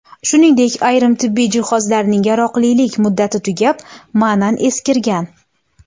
Shuningdek, ayrim tibbiy jihozlarning yaroqlilik muddati tugab, ma’nan eskirgan.